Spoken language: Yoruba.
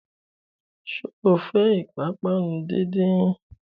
Sọ fẹ́ ìpápánu díndín?